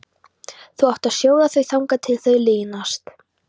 Þú átt að sjóða þau þangað til þau linast.